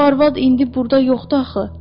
O arvad indi burda yoxdu axı.